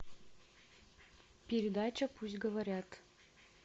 передача пусть говорят